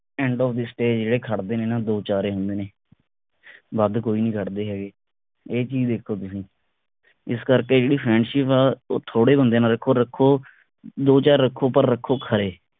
endofthestage ਜਿਹੜੇ ਖੜਦੇ ਨੇ ਨਾ ਦੋ ਚਾਰ ਏ ਹੁੰਦੇ ਨੇ ਵੱਧ ਕੋਈ ਨੀ ਖੜਦੇ ਹੈਗੇ ਇਹ ਚੀਜ ਦੇਖੋ ਤੁਸੀ ਇਸ ਕਰਕੇ ਜਿਹੜੀ friendship ਆ ਉਹ ਥੋੜੇ ਬੰਦਿਆਂ ਨਾਲ ਰੱਖੋ ਰੱਖੋ ਦੋ ਚਾਰ ਰੱਖੋ ਪਰ ਰੱਖੋ ਖਰੇ